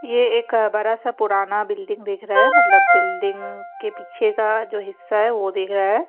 ये एक बड़ा सा पुराना बिल्डिंग दिख रहा है मतलब बिल्डिंग के पीछे का जो हिस्सा है वो दिख रहा है ।